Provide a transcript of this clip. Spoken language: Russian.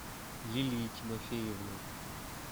лилии тимофеевны